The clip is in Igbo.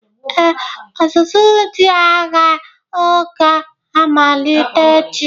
Ee, ọzụzụ ndị agha oga-amalite echi.